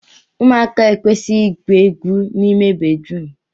ụmụaka ekwesịghị igwu egwu n'ime bedrum